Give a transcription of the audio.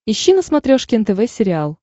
ищи на смотрешке нтв сериал